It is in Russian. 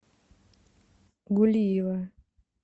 гулиева